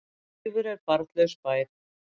Daufur er barnlaus bær.